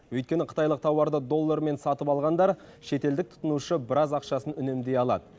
өйткені қытайлық тауарды доллармен сатып алғандар шетелдік тұтынушы біраз ақшасын үнемдей алады